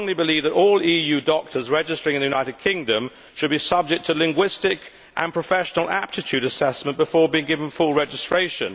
I strongly believe that all EU doctors registering in the United Kingdom should be subject to linguistic and professional aptitude assessment before being given full registration.